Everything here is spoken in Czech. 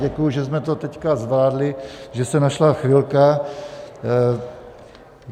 Děkuji, že jsme to teď zvládli, že se našla chvilka.